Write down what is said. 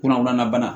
Kunnafoniya bana